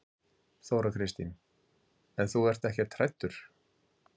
Þóra Kristín: En þú ert ekkert hræddur?